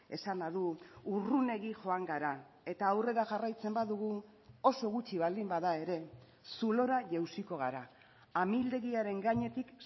esana du urrunegi joan gara eta aurrera jarraitzen badugu oso gutxi baldin bada ere zulora jausiko gara amildegiaren gainetik